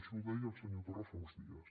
això ho deia el senyor torra fa uns dies